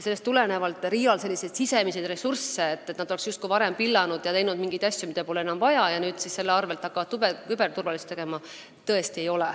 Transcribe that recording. Selliseid sisemisi ressursse RIA-l tõesti ei ole, mida nad oleksid varem justkui pillanud ja teinud mingeid asju, mida enam pole vaja, ning nüüd hakkaksid selle asemel tegelema küberturvalisusega.